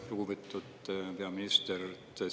Lugupeetud peaminister!